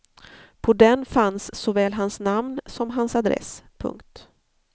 På den fanns såväl hans namn som hans adress. punkt